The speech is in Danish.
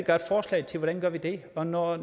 godt forslag til hvordan vi gør det og når